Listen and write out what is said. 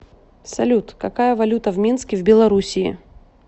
салют какая валюта в минске в белоруссии